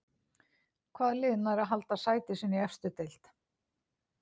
Hvaða lið nær að halda sæti sínu í efstu deild?